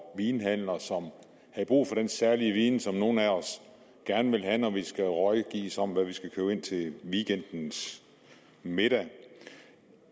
vinhandler som havde brug for den særlige viden som nogle af os gerne vil have når vi skal rådgives om hvad vi skal købe ind til weekendens middag